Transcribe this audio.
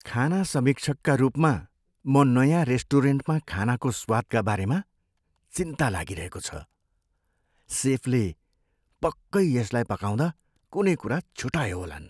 खाना समीक्षकका रूपमा, म नयाँ रेस्टुरेन्टमा खानाको स्वादका बारेमा चिन्ता लागिरहेको छ। सेफले पक्कै यसलाई पकाउँदा कुनै कुरा छुटाए होलान्।